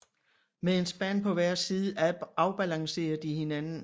Med en spand på hver side afbalancerer de hinanden